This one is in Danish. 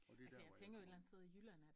Og det er dér hvor jeg kommer ind